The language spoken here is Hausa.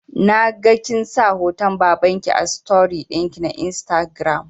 Naga kinsa hoton babanki a story ɗinki na instagram